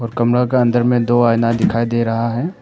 कमरा का अंदर में दो आईना दिखाई दे रहा है।